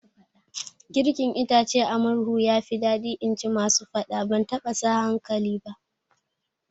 Girkin itace a murhu yafi daɗi inji masu faɗa, ban taɓa sa hankali ba